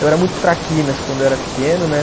Eu era muito traquinas quando eu era pequeno, né?